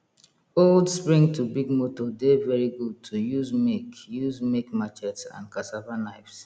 old spring to big motor dey very good to use make use make machetes and cassava knives